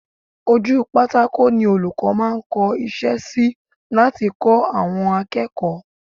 Ojú pátákò ni olùkọ́ máa ń kọ́ iṣẹ́ sí láti kọ́ àwọn akẹ́kọ̀ọ́